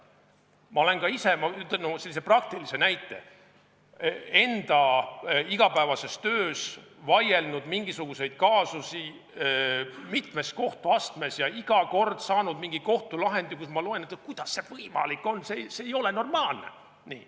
Ma olen ka ise – ütlen sellise praktilise näite – enda igapäevases töös vaielnud mingisuguseid kaasusi mitmes kohtuastmes ja iga kord saanud mingi kohtulahendi, mida ma loen ja mõtlen, et kuidas see võimalik on, see ei ole normaalne.